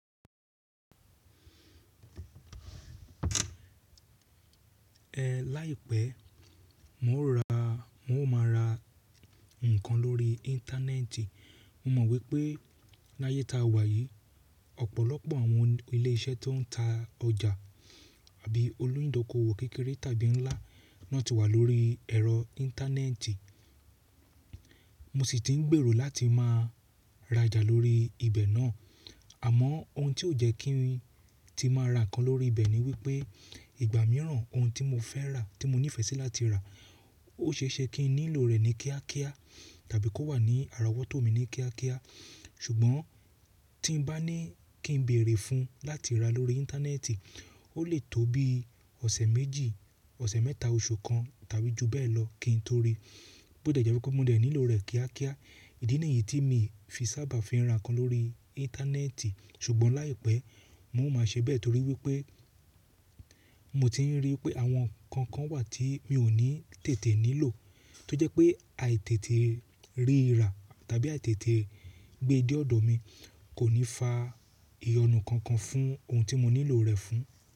Ẹ láìpẹ́, mo ó máa ra nǹkan lórí Íńtánẹ́ẹ̀tì. Mo mọ̀ wípé láyé ta wà yìí, ọ̀pọ̀lọpọ̀ àwọn ilé iṣẹ́ tó ń ta ọjà àbí olùdókòwò kékeré tàbí ńlá náà ti wà lórí ẹ̀rọ Íńtánẹ́ẹ̀tì. Mo sì ti ń gbèrò láti máa rajà lórí ibẹ̀ náà. Àmọ́ ohun tí ó jẹ́ kí n tí máa ra ǹkan lórí ibẹ̀ ni wípé ìgbà mìíràn ohun tí mo fẹ́ rà, tí mo ní ìfẹ́ sí láti rà ó ṣe é ṣe kí n nílò rẹ̀ ní kíákíá tàbí kó wà ní ara wọ́tọ́ mi ní kíákíá. Ṣùgbọ́n tí ń bá ní kí ń béèrè fún láti rà lórí Íńtánẹ́ẹ̀tì, ó lè tó bí ọ̀sẹ̀ méjì, ọ̀sẹ̀ mẹ́ta, oṣù kan tàbí jù bẹ́ẹ̀ lọ kí n torí bó deje pé kó mo dẹ̀ nílò rẹ̀ kíákíá. Ìdí nìyí tí mi fi sábà fi ń ra ǹkan lórí Íńtánẹ́ẹ̀tì. Ṣùgbọ́n láìpẹ́ mo ó máa ṣe bẹ́ẹ̀ torí wípé mo ti ń rí i pé àwọn ǹkan kan wà tí mi ò ní tètè nílò tó jẹ́ pé àìtètè ríra tàbí àìtètè gbé de ọ̀dọ̀ mi kò ní fa ìyọnu kankan fún ohun tí mo nílò rẹ̀ fún.